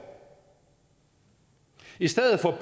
i stedet for